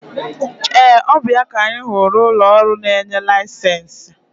Ee! Ọ bụ ya ka anyị hụrụ n'ụlọ ọrụ na-enye laịsensị?